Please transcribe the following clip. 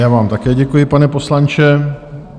Já vám také děkuji, pane poslanče.